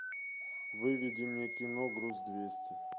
выведи мне кино груз двести